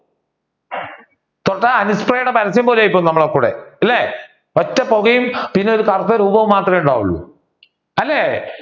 തൊട്ടാൽ പരസ്യം പോലെയാകും നമ്മളൊക്കെ കൂടെ. ഇല്ലേ ഒറ്റ പുകയും പിന്നെ കറുത്ത രൂപവും മാത്രമേ ഉണ്ടാവൂൾ അല്ലെ